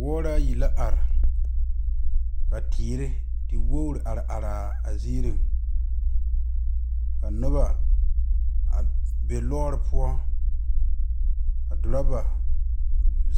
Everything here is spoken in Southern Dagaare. Wɔɔ ayi la are ka teere te woori are are a ziiri ka noba a be lɔɔre poɔ ka dɔrɔva